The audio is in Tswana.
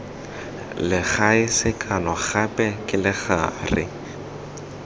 legae sekano gape ke legare